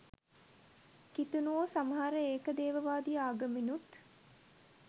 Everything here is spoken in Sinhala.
කිතුනුවෝ සමහර ඒක දේවවාදී ආගම්නුත්